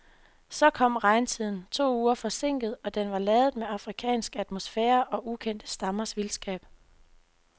Så kom regntiden, to uger forsinket, og den var ladet med afrikansk atmosfære og ukendte stammers vildskab.